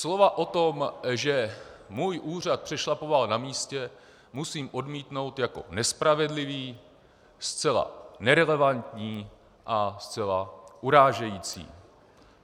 Slova o tom, že můj úřad přešlapoval na místě, musím odmítnout jako nespravedlivá, zcela nerelevantní a zcela urážející.